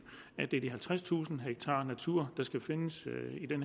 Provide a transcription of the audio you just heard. at det er de halvtredstusind ha natur der skal findes